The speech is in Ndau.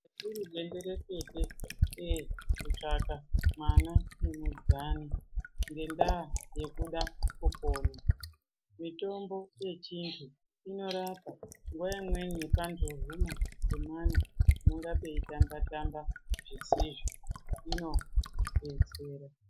Zvairi benderekete kutsvaka mwana ngemudzani ngendaa yokuda kupona mitombo yechinzi inorapa nguwa imweni pandohuma pemwana panonga peitamba tamba zvisizvo inodetsera.